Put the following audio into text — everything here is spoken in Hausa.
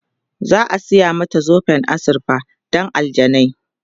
za'a saya mata zoben azurfa Dan aljanai